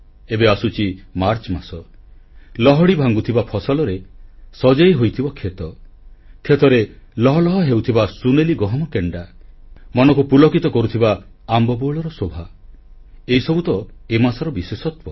ଏବେ ଆସୁଛି ମାର୍ଚ୍ଚ ମାସ ଲହଡି ଭାଙ୍ଗୁଥିବା ଫସଲରେ ସଜେଇ ହୋଇଥିବ କ୍ଷେତ କ୍ଷେତରେ ଲହ ଲହ ହେଉଥିବା ସୁନେଲି ଗହମ କେଣ୍ଡା ମନକୁ ପୁଲକିତ କରୁଥିବା ଆମ୍ବ ବଉଳର ଶୋଭା ଏସବୁ ତ ଏ ମାସର ବିଶେଷତ୍ୱ